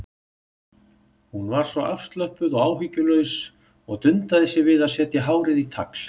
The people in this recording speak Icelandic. Hún var svo afslöppuð og áhyggjulaus og dundaði sér við að setja hárið í tagl.